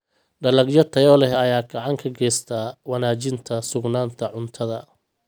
Dalagyo tayo leh ayaa gacan ka geysta wanaajinta sugnaanta cuntada.